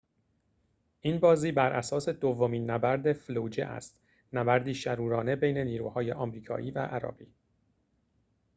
این بازی بر اساس دومین نبرد فلوجه است نبردی شرورانه بین نیروهای آمریکایی و عراقی